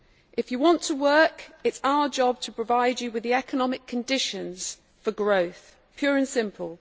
If you want to work, it is our job to provide you with the economic conditions for growth pure and simple.